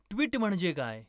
tweet म्हणजे काय